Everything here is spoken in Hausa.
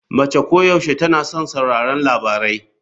Mace koyaushe tana son sauraron labarai.